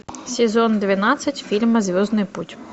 сезон двенадцать фильма звездный путь